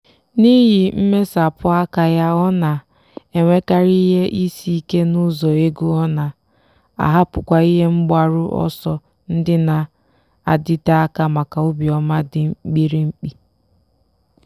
n'ihi mmesapụ aka ya ọ na-enwekarị ihe isi ike n'ụzọ ego ọ na-ahapụkwa ihe mgbaru ọsọ ndị na-adịte aka maka obiọma dị mkpirikpi.